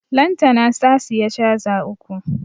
Lantana ta siya caza uku